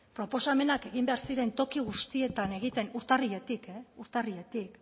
proposamenak egin behar ziren toki guztietan egiten urtarriletik urtarriletik